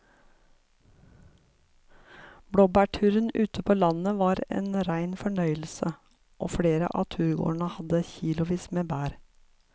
Blåbærturen ute på landet var en rein fornøyelse og flere av turgåerene hadde kilosvis med bær.